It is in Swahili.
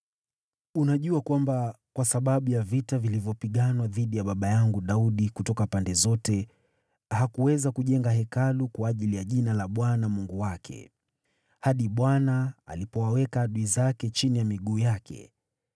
“Unajua kwamba kwa sababu ya vita vilivyopiganwa dhidi ya baba yangu Daudi kutoka pande zote, hakuweza kujenga Hekalu kwa ajili ya Jina la Bwana Mungu wake, hadi Bwana alipowaweka adui zake chini ya miguu yake.